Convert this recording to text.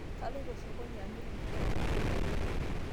Kaloito sokoni amir mpukai